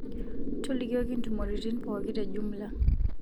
tolikioki ntumurotin pooki te jumla